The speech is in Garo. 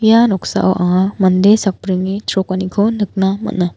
ia noksao anga mande sakbrini chrokaniko nikna man·a.